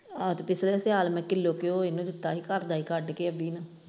ਐਤਕੀ ਫਿਰ ਸਿਆਲ ਨੂੰ ਕਿਲੋ ਘਿਉ ਉਹਨੇ ਦਿੱਤਾ ਸੀ ਘਰ ਦਾ ਹੀ ਕੱਢ ਕੋ .